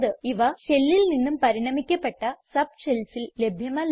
ഇവ shellൽ നിന്നും പരിണമിക്കപ്പെട്ട subshellsൽ ലഭ്യമല്ല